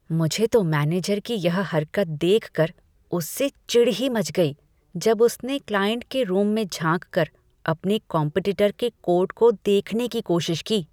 मुझे तो मैनेजर की यह हरकत देखकर उससे चिढ़ ही मच गई, जब उसने क्लाइंट के रूम में झांककर अपने कॉम्पेटिटर के कोट को देखने की कोशिश की।